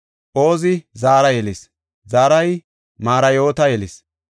Ozi Zara yelis; Zarahi Marayoota yelis;